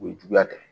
O ye juguya tɛ